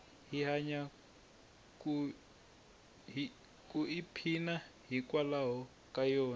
hi hanya ku i phina yi nkwalayo ka yona